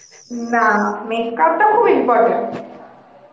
না makeup টা খুব important